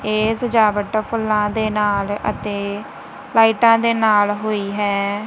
ਇਹ ਸਜਾਵਟ ਫੁੱਲਾਂ ਦੇ ਨਾਲ ਅਤੇ ਲਾਈਟਾਂ ਦੇ ਨਾਲ ਹੋਈ ਹੈ।